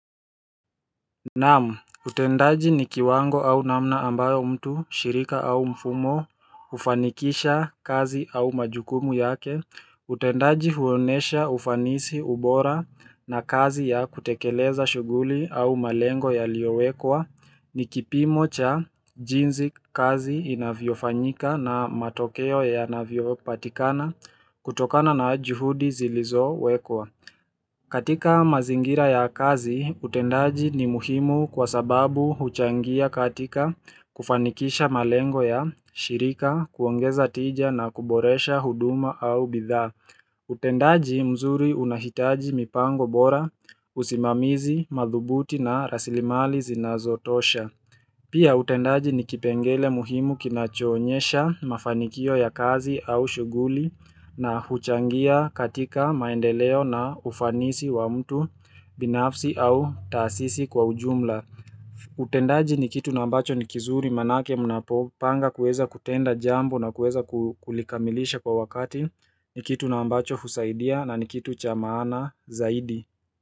Naam, utendaji ni kiwango au namna ambayo mtu, shirika au mfumo, ufanikisha kazi au majukumu yake, utendaji huonyesha ufanisi, ubora na kazi ya kutekeleza shughuli au malengo yaliyowekwa, ni kipimo cha jinsi kazi inavyofanyika na matokeo yanavyopatikana kutokana na juhudi zilizowekwa. Katika mazingira ya kazi, utendaji ni muhimu kwa sababu huchangia katika kufanikisha malengo ya shirika, kuongeza tija na kuboresha huduma au bidhaa. Utendaji mzuri unahitaji mipango bora, usimamizi, madhubuti na rasilimali zinazotosha. Pia utendaji ni kipengele muhimu kinachoonyesha mafanikio ya kazi au shughuli na huchangia katika maendeleo na ufanisi wa mtu binafsi au taasisi kwa ujumla. Utendaji ni kitu ambacho ni kizuri maanake mnapopanga kuweza kutenda jambo na kuweza kulikamilisha kwa wakati ni kitu na ambacho husaidia na ni kitu cha maana zaidi.